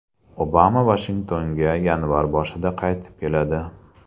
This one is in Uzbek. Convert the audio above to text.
Obama Vashingtonga yanvar boshida qaytib keladi.